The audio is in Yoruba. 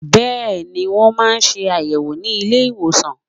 Bẹ́ẹ̀ni, Wọ́n ma ṣe àyẹ̀wò ni ilé ìwòsàn